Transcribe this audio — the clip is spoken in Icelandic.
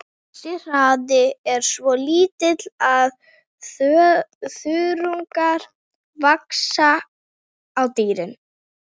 Þessi hraði er svo lítill að þörungar vaxa á dýrinu.